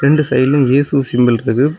ரெண்டு சைடுலயும் யேசு சிம்பிள்ருக்குது .